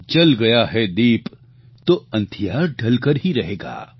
જલ ગયા હૈ દીપ તો અંધિયાર ઢલકર હી રહેગા